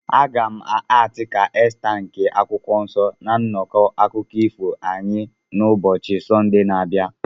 Aga m akti ka Esta nke akwụkwọ nsọ na nnọkọ akụkọ ifo anyị n'ubochi Sọnde na-abịa.